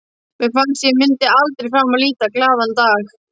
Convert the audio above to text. Mér fannst að ég myndi aldrei framar líta glaðan dag.